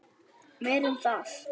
Meira en það.